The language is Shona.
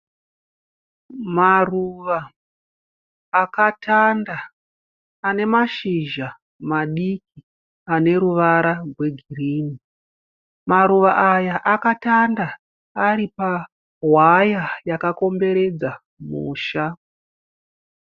Maruva akatanda ane mashizha madiki ane ruvara rwegirinhi. Maruva aya akatanda ari pawaya yakakomberedza musha.